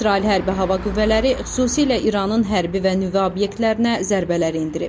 İsrail hərbi hava qüvvələri xüsusilə İranın hərbi və nüvə obyektlərinə zərbələr endirib.